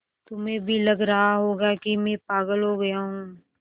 तुम्हें भी लग रहा होगा कि मैं पागल हो गया हूँ